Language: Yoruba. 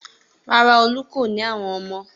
Rárá, Olú kò ní àwọn ọmọ.